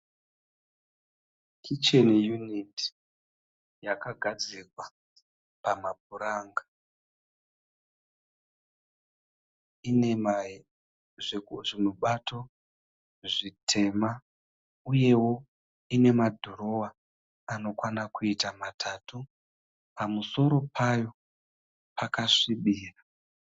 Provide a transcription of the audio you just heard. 'Kitchen unit' yakagadzikwa pamapuranga, iine zvimubato zvitema uyewo iine ma dhirowa anokwana kuita matatu, pamusoro payo pakasvibira.